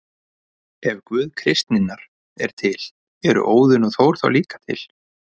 Ef Guð kristninnar er til, eru Óðinn og Þór þá líka til?